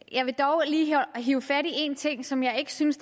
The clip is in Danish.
jeg vil dog lige hive fat i en ting som jeg ikke synes